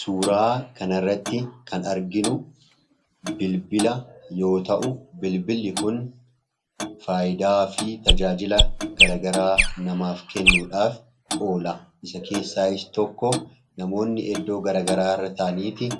Suuraa kanarratti kan arginu bilbila yoo ta'u, bilbilli kun faayidaa fi tajaajila garagaraa namaaf kennuudhaaf oola. Isa keessaayis tokko namoonni eddoo garagaraa irra taa'aniiti